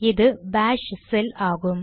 இது Bash shell ஆகும்